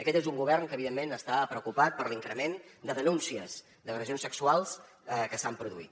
aquest és un govern que evidentment està preocupat per l’increment de denúncies d’agressions sexuals que s’han produït